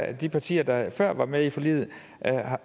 at de partier der før var med i forliget